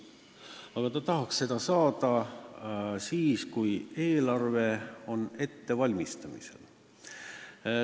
Aga ta tahaks seda saada siis, kui eelarve on ettevalmistamisel.